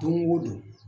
Don go don